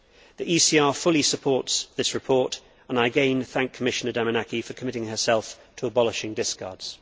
The ECR fully supports this report and I again thank Commissioner Damanaki for committing herself to abolishing discards.